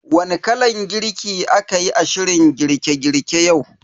Wani kalan girki a kayi a shirin girke girke yau?